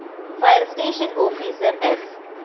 fire station officer S